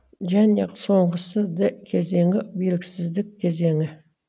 және соңғысы д кезеңі белгісіздік кезеңі